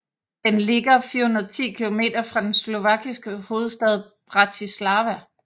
Den ligger 410 kilometer fra den slovakiske hovedstad Bratislava